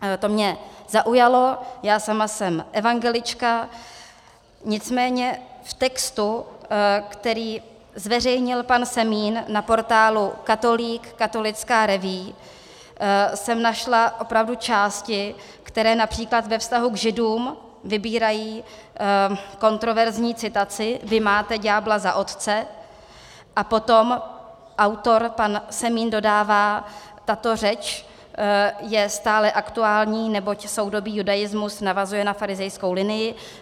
To mě zaujalo, já sama jsem evangelička, nicméně v textu, který zveřejnil pan Semín na portálu Katolík, katolická revue, jsem našla opravdu části, které například ve vztahu k Židům vybírají kontroverzní citaci "vy máte ďábla za otce", a potom autor pan Semín dodává: "Tato řeč je stále aktuální, neboť soudobý judaismus navazuje na farizejskou linii.